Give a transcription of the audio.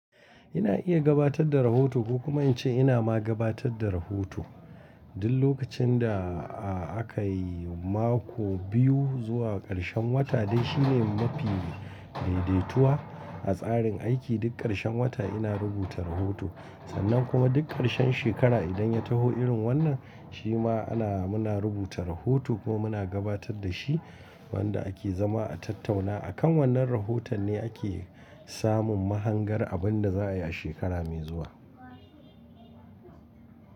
Ina iya gabatar da rahoto ko kuma in ce ina ma gabatar da rahoto. Duk lokacin da aka yi mako biyu zuwa ƙarshen wata dai shine mafi daidaituwa a tsarin aiki. Duk ƙarshen wata ina rubuta rahoto sannan kuma duk ƙarshen shekara idan ya taho irin wannan shi ma ana muna rubuta rahoto ko muna gabatar da shi. Wanda ake zama a tattauna akan wannan rahoton ne ake samun mahangar abin da za a yi a shekara mai zuwa.